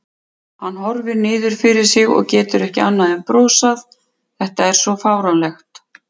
Hann horfir niður fyrir sig og getur ekki annað en brosað, þetta er svo fáránlegt.